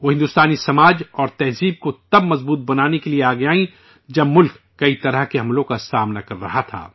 وہ ہندوستانی معاشرہ اور ثقافت کو تب مضبوط کرنے کے لیے آگے آئیں، جب ملک کئی قسم کے حملے کا سامنا کر رہا تھا